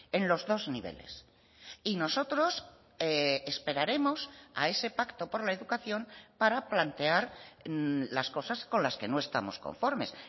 en los dos niveles y nosotros esperaremos a ese pacto por la educación para plantear las cosas con las que no estamos conformes